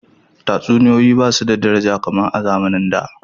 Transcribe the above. Tatsuniyoyi ba su da daraja kamar a zamanin da.